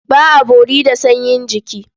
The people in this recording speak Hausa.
Ba a bori da sanyin jiki.